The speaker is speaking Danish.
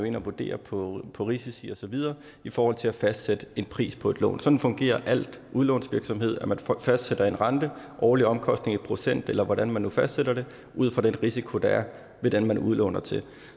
ind og vurderer på på risici og så videre i forhold til at fastsætte en pris på et lån sådan fungerer al udlånsvirksomhed man fastsætter en rente årlige omkostninger i procent eller hvad man nu fastsætter ud fra den risiko der er ved den man udlåner til